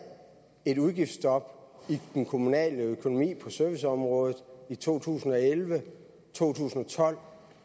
et udgiftsstop i den kommunale økonomi på serviceområdet i to tusind og elleve to tusind og tolv